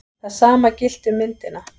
Það sama gilti um myndina.